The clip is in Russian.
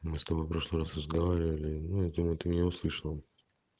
мы с тобой прошлый раз разговаривали ну я думаю ты меня услышала